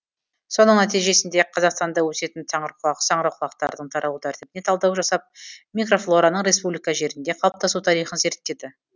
соның нәтижесінде қазақстанда өсетін саңырауқұлақтардың таралу тәртібіне талдау жасап микрофлораның республика жерінде қалыптасу тарихын зерттеді